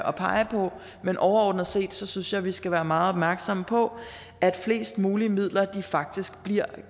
og pege på men overordnet set synes jeg at vi skal være meget opmærksomme på at flest mulige midler faktisk bliver